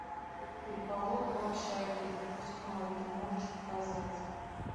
переполох в общаге выпускной ты можешь показать